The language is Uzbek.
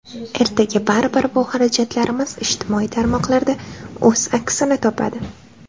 Ertaga baribir bu xarajatlarimiz ijtimoiy tarmoqlarda o‘z aksini topadi.